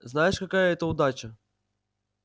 знаешь какая это удача